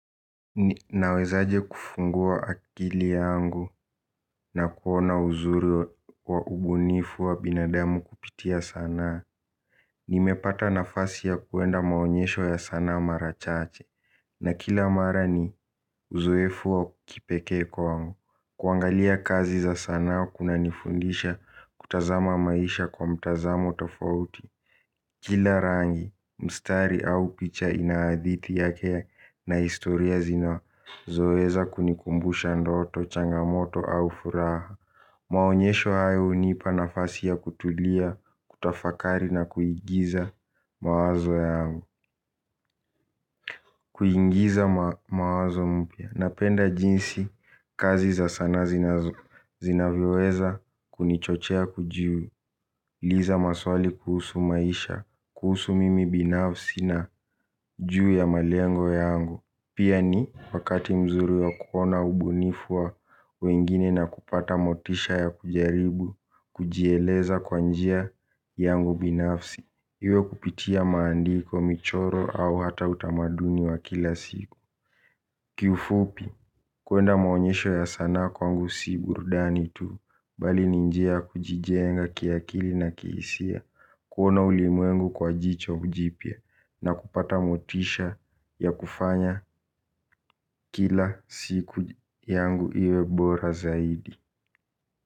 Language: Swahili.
Nawezaje kufungua akili yangu na kuona uzuri wa ubunifu wa binadamu kupitia sanaa. Nimepata nafasi ya kuenda maonyesho ya sanaa mara chache. Na kila mara ni uzoefu wa kipekee kwangu. Kuangalia kazi za sanaa kunanifundisha kutazama maisha kwa mtazamo tofauti. Kila rangi, mstari au picha ina hadithi yake na historia zinazoweza kunikumbusha ndoto, changamoto au furaha. Maonyesho hayo hunipa nafasi ya kutulia, kutafakari na kuigiza mawazo yangu. Kuingiza mawazo mpya, napenda jinsi, kazi za sanaa zinavyoweza kunichochea kujiu uliza maswali kuhusu maisha, kuhusu mimi binafsi na juu ya malengo yangu. Pia ni wakati mzuri ya kuona ubunifua wengine na kupata motisha ya kujaribu, kujieleza kwa njia yangu binafsi. Iwe kupitia maandiko, michoro au hata utamaduni wa kila siku. Kiufupi kuenda maonyesho ya sana kwangu si burdani tuu bali ni njia kujijenga kiakili na kihisia kuona ulimwengu kwa jicho jipya na kupata motisha ya kufanya kila siku yangu iwe bora zaidi.